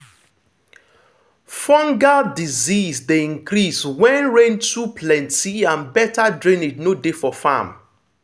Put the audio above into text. fungal disease dey increase when rain too plenty and better drainage no dey for farm.